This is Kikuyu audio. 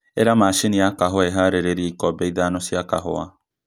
īra mashini ya kahūwa īharīrie ikombe ithano cia kahūwa